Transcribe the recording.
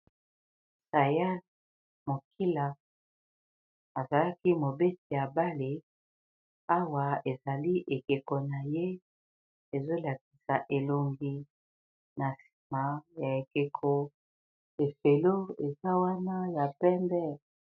Sayal Moukila azalaki mobeti ya bale awa ezali ekeko na ye ezo lakisa elongi, na nsima ya ekeko efelo eza wana ya pembe.